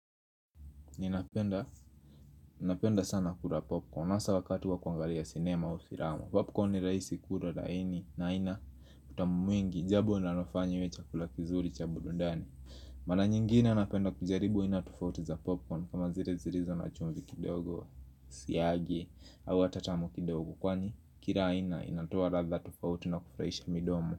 Ninapenda sana kula popcorn hasa wakati wa kuangalia sinema usirama Popcorn ni rahisi kula laini na haina utamu mwingi Jambo linanofanya iwe chakula kizuri cha burudani Mara nyingine napenda kujaribu aina tufauti za popcorn kama zile zilizo na chumvi kidogo siagi au hata tamu kidogo Kwani kila aina inatoa radha tofauti na kufuraisha midomo.